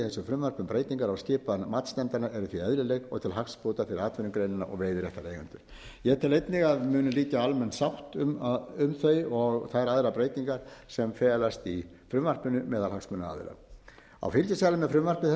um breytingar á skipan matsnefndarinnar eru því eðlileg og til hagsbóta fyrir atvinnugreinina og veiðiréttareigendur ég tel einnig að muni liggja almenn sátt um þau og þær aðrar breytingar sem felast í frumvarpinu meðal hagsmunaaðila á fylgiskjali með frumvarpi þessu er að